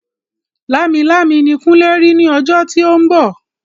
Lámilámi ni kunle rí ní ọjọ́ tí ó ń bọ̀